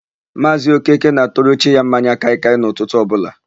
Maazị Okeke na-atụrụ chi ya mmanya kaịkaị n'ụtụtụ ọbụla.